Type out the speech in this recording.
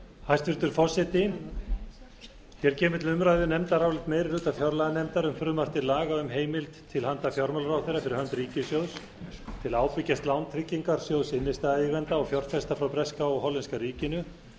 hæstvirtur forseti hér kemur til umræðu nefndarálit meiri hluta fjárlaganefndar um frumvarp til laga um heimild til handa fjármálaráðherra fyrir hönd ríkissjóðs til að ábyrgjast lán tryggingarsjóðs innstæðueigenda og fjárfesta frá breska og hollenska ríkinu